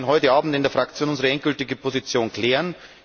Wir werden heute Abend in der Fraktion unsere endgültige Position klären.